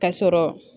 Ka sɔrɔ